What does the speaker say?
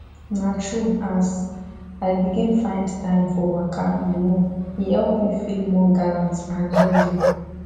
na true as i begin find time for waka you know e help me feel more gallant and healthy